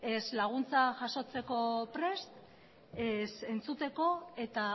ez laguntza jasotzeko prest ez entzuteko eta